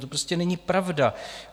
To prostě není pravda.